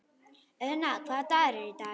Auðna, hvaða dagur er í dag?